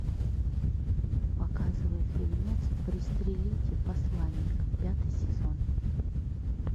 показывай фильмец пристрелите посланника пятый сезон